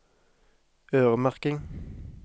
øremerking